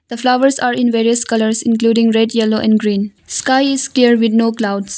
The flowers are in various colours including red yellow and green. Sky is clear with no clouds.